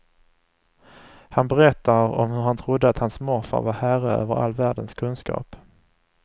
Han berättar om hur han trodde att hans morfar var herre över all världens kunskap.